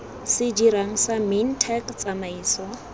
se dirang sa mintech tsamaiso